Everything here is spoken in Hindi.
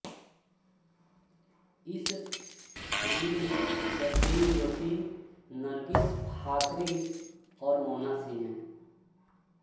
इस फ़िल्म में सचिन जोशी नर्गिस फाखरी और मोना सिंह हैं